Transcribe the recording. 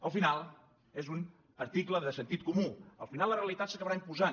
al final és un article de sentit comú al final la realitat s’acabarà imposant